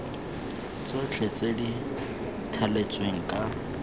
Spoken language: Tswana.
tsotlhe tse di thaletsweng ka